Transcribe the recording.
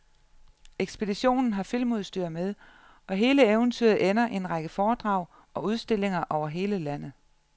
Ekspeditionen har filmudstyr med, og hele eventyret ender i en række foredrag og udstillinger over hele landet.